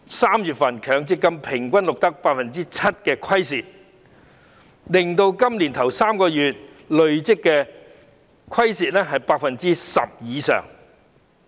3月的強積金平均錄得 7% 虧蝕，令今年首3個月的累積虧蝕達 10% 以上。